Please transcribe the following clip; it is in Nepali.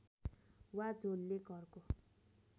वा झोलले घरको